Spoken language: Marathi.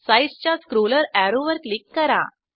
साइझ च्या स्क्रोलर अॅरोवर क्लिक करा